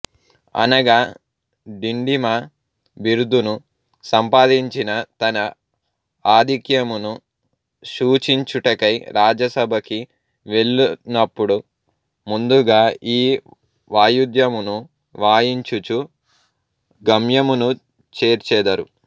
అనగా డిండిమ బిరుదును సంపాదించిన తన ఆధిక్యమును శూచించుటకై రాజసభకి వెళ్ళునపుడు ముందుగా ఈ వాయుద్యమును వాయించుచు గమ్యమును చేర్చెదరు